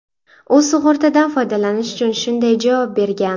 U sug‘urtadan foydalanish uchun shunday javob bergan.